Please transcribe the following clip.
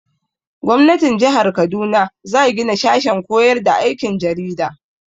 Gwamnatin jihar Kaduna za gina sashen koyar da aikin jarida.